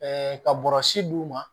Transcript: ka bɔrɔsi d'u ma